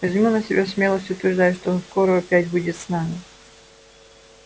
возьму на себя смелость утверждать что он скоро опять будет с нами